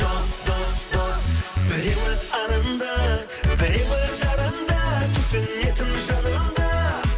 дос дос дос біреуі арынды біреуі дарынды түсінетін жаныңды